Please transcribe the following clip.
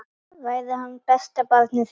Verði hann besta barnið þitt.